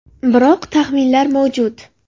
Biroq taxminlar mavjud.